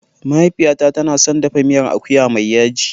Mahaifiyata tana son dafa miyar akuya mai yaji.